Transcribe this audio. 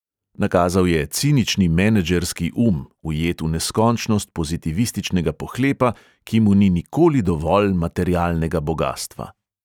Nakazal je cinični menedžerski um, ujet v neskončnost pozitivističnega pohlepa, ki mu ni nikoli dovolj materialnega bogastva.